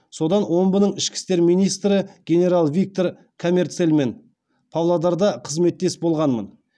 содан омбының ішкі істер министрі генерал виктор камерцельмен павлодарда қызметтес болғанмын